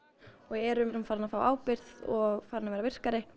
og erum farin að fá ábyrgð og farin að verða virkari